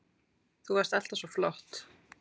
Þú varst alltaf svo flott.